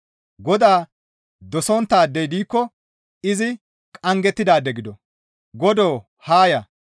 Godaa dosonttaadey diikko izi qanggettidaade gido! Godoo haa ya!